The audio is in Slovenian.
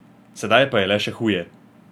Sedaj je pa le še huje.